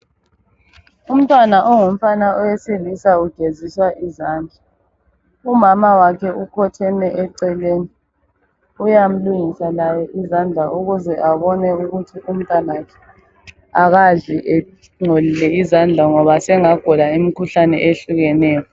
Umntwana ongumfana owesilisa ugeziswa izandla umama wakhe ukhotheme eceleni uyamlungisa laye izandla ukuze abone ukuthi umntwana wakhe akadli engcolile izandla ngoba sengagula umkhuhlane ohlukeneyo